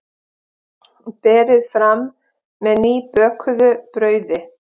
Berið fram með nýbökuðu brauði.